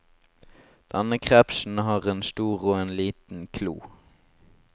Denne krepsen har en stor og en liten klo.